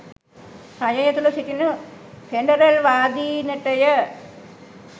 රජය තුළ සිටින ෆෙඩරල්වාදීනටය.